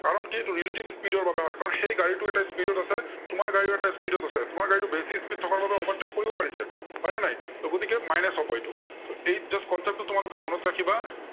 কাৰন কি সেইটো relative speed ৰ বাবে হয়। কাৰন সেই গাড়ীটো এটা speed ত আছে, তোমাৰ গাড়ীও এটা speed ত আছে, তোমাৰ গাড়ীটো বেছি speed থকাৰ বাবে overtake কৰিব পাৰিছে, হয় নে নাই? ত' গতিকে minus হব এইটো। ত' just concept টো তোমালোকে মূৰত ৰাখিবা।